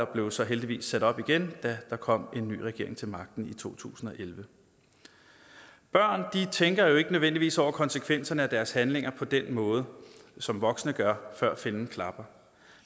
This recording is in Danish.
blev så heldigvis sat op igen da der kom en ny regering til magten i to tusind og elleve børn tænker jo ikke nødvendigvis over konsekvenserne af deres handlinger på den måde som voksne gør før fælden klapper